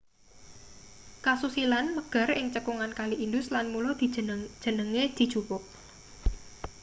kasusilan megar ing cekungan kali indus lan mula jenenge dijupuk